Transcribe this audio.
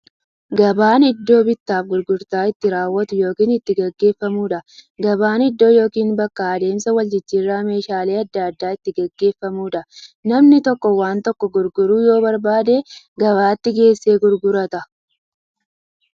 Gabaan iddoo bittaaf gurgurtaan itti raawwatu yookiin itti gaggeeffamuudha. Gabaan iddoo yookiin bakka adeemsa waljijjiiraan meeshaalee adda addaa itti gaggeeffamuudha. Namni tokko waan tokko gurguruu yoo barbaade, gabaatti geessee gurgurata.